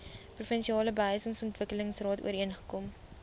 provinsiale behuisingsontwikkelingsraad ooreengekom